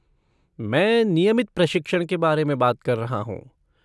मैं नियमित प्रशिक्षण के बारे में बात कर रहा हूँ।